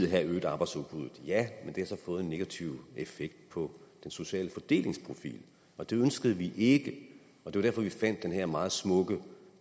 have øget arbejdsudbuddet ja men det havde så fået en negativ effekt på den sociale fordelingsprofil og det ønskede vi ikke det var derfor vi fandt den her meget smukke